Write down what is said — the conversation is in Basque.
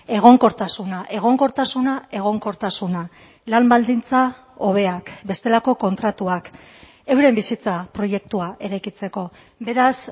egonkortasuna egonkortasuna egonkortasuna lan baldintza hobeak bestelako kontratuak euren bizitza proiektua eraikitzeko beraz